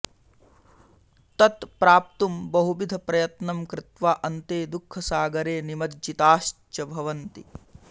तत् प्राप्तुं बहुविधप्रयत्नं कृत्वा अन्ते दुःखसागरे निमज्जिताश्च भवन्ति